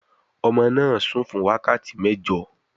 Ọmọ náà sùn fún wákàtí mẹ́jọ